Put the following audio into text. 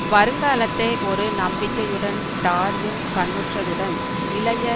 வருங்காலத்தை ஒரு நம்பிக்கையுடன் டார்வின் கண்ணுற்றதுடன் இளைய